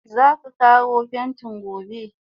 Zaka kawo pentin gobe?